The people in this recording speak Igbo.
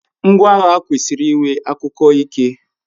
Ngwa agha kwesiri iwe akuko Ike